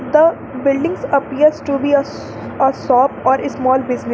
The buildings appears to be a sh shop or small business.